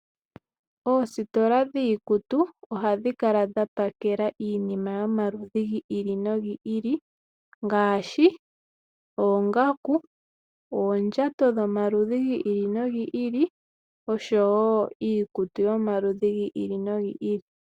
Oositola dhiikutu ohadhi kala dha pakela iinima yomaludhi gi ili nogi ili ngaashi: oongaku, oondjato dhomaludhi gi ili nogi ili osho wo iikutu yomaludhi gi ili nogi ili.